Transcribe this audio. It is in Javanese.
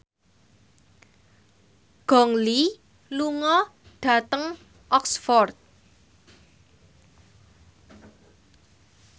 Gong Li lunga dhateng Oxford